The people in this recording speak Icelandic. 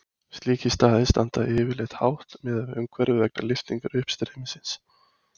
Slíkir staðir standa yfirleitt hátt miðað við umhverfið vegna lyftingar uppstreymisins.